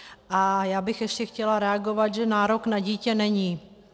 A já bych ještě chtěla reagovat, že nárok na dítě není.